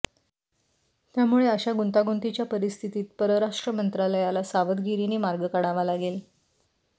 त्यामुळे अशा गुंतागुंतीच्या परिस्थितीत परराष्ट्र मंत्रालयाला सावधगिरीने मार्ग काढावा लागेल